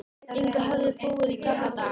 Inga höfðu búið í gamla daga.